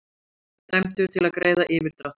Dæmdur til að greiða yfirdráttinn